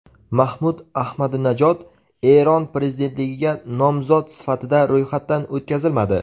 Mahmud Ahmadinajod Eron prezidentligiga nomzod sifatida ro‘yxatdan o‘tkazilmadi.